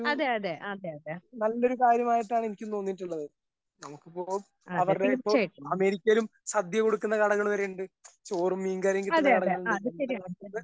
അതെ അതെ അതെ അതെ അതെ അതെ തീർച്ചയായും. ആഹ് അത് ശരിയാണ്